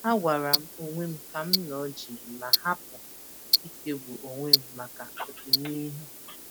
Agwaram onwem kam nọ jii ma hapụ ichegbu onwem maka ọdịnihu.